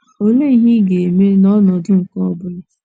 Olee ihe ị ga - eme n’ọnọdụ nke ọ bụla?